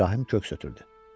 İbrahim köks ötürdü.